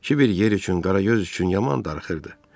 Kiver yer üçün, qaragöz üçün yaman darıxırdı.